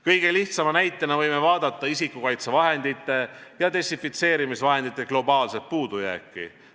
Kõige lihtsama näitena võime vaadata isikukaitsevahendite ja desinfitseerimisvahendite globaalset puudujääki.